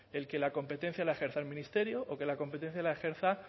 el que la competencia la ejerza el ministerio o que la competencia la ejerza